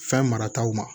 Fɛn marataw ma